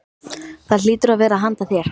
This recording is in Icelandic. Það hlýtur að vera handa þér.